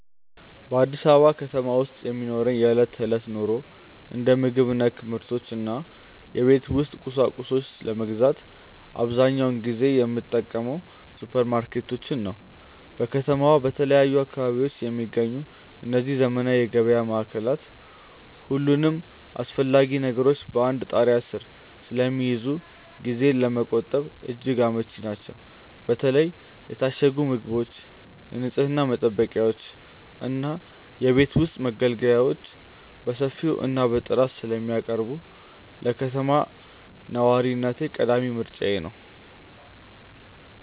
በአዲስ አበባ ከተማ ውስጥ ለሚኖረኝ የዕለት ተዕለት ኑሮ፣ እንደ ምግብ ነክ ምርቶች እና የቤት ውስጥ ቁሳቁሶችን ለመግዛት አብዛኛውን ጊዜ የምጠቀመው ሱፐርማርኬቶችን ነው። በከተማዋ በተለያዩ አካባቢዎች የሚገኙት እነዚህ ዘመናዊ የገበያ ማዕከላት፣ ሁሉንም አስፈላጊ ነገሮች በአንድ ጣሪያ ስር ስለሚይዙ ጊዜን ለመቆጠብ እጅግ አመቺ ናቸው። በተለይ የታሸጉ ምግቦችን፣ የንፅህና መጠበቂያዎችን እና የቤት ውስጥ መገልገያዎችን በሰፊው እና በጥራት ስለሚያቀርቡ፣ ለከተማ ነዋሪነቴ ቀዳሚ ምርጫዬ ናቸው።